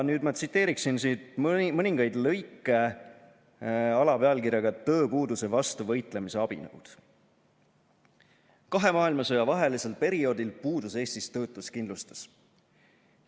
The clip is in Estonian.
Nüüd ma tsiteerin mõningaid lõike alapealkirjaga "Tööpuuduse vastu võitlemise abinõud": "Kahe maailmasõja vahelisel perioodil puudus Eestis töötuskindlustus.